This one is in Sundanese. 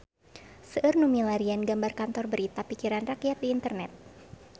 Seueur nu milarian gambar Kantor Berita Pikiran Rakyat di internet